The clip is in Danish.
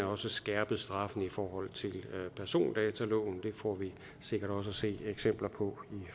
også skærpet straffen i forhold til persondataloven det får vi sikkert også at se eksempler på i